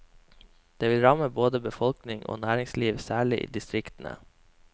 Det vil ramme både befolkning og næringsliv, særlig i distriktene.